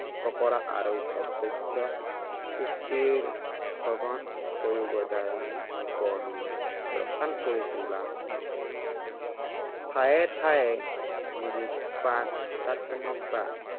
ফঁকৰা আৰু সৌন্দৰ্যৰ উক্তিৰ সঘন প্ৰয়োগৰ দ্বাৰা বৰ্ণনা, ৰসাল কৰি তোলা হয়। ঠায়ে ঠায়ে, গুৰুপাকত্বমাক বা